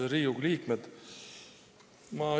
Head Riigikogu liikmed!